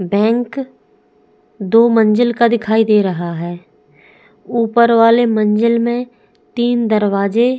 bank दो मंजिल का दिखाई दे रहा है ऊपर वाले मंजिल में तीन दरवाजे --